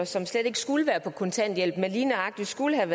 som slet ikke skulle være på kontanthjælp men lige nøjagtig skulle have